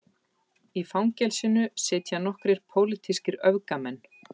Í fangelsinu sitja nokkrir pólitískir öfgamenn